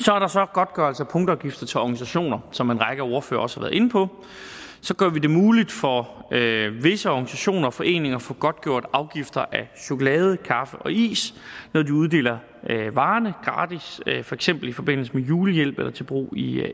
godtgørelse af punktafgifter til organisationer som en række ordførere også har været inde på gør vi det muligt for visse organisationer og foreninger at få godtgjort afgifter af chokolade kaffe og is når de uddeler varerne gratis for eksempel i forbindelse med julehjælp eller til brug i